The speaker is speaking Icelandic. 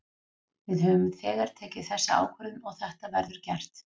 Við höfum þegar tekið þessa ákvörðun og þetta verður gert.